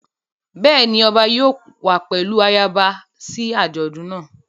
Bẹ́ẹ̀ ni ọba yóò wá pẹ̀lú ayaba sí àjọ̀dún náà.